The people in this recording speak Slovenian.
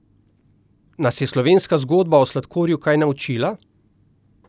Nas je slovenska zgodba o sladkorju kaj naučila?